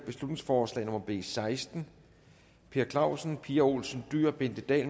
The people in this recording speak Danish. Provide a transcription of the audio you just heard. beslutningsforslag nummer b seksten per clausen pia olsen dyhr bente dahl